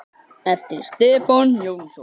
eftir Stefán Jónsson